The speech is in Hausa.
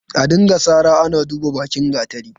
A dinga sara ana duban bakin gatari.